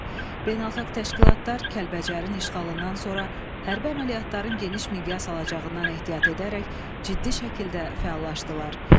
Beynəlxalq təşkilatlar Kəlbəcərin işğalından sonra hərbi əməliyyatların geniş miqyas alacağından ehtiyat edərək ciddi şəkildə fəallaşdılar.